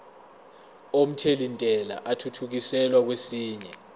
omthelintela athuthukiselwa kwesinye